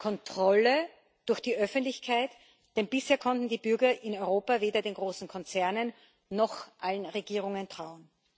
Kontrolle durch die Öffentlichkeit, denn bisher konnten die Bürger in Europa weder den großen Konzernen noch allen Regierungen trauen.